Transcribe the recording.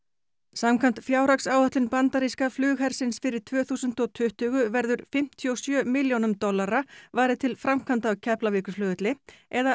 samkvæmt fjárhagsáætlun bandaríska flughersins fyrir tvö þúsund og tuttugu verður fimmtíu og sjö milljónum dollara varið til framkvæmda á Keflavíkurflugvelli eða